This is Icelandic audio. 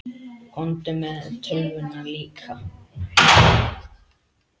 Komdu með tölvuna líka.